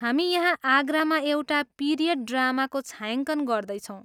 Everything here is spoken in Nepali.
हामी यहाँ आगरामा एउटा पिरियड ड्रामाको छायाङ्कन गर्दैछौँ।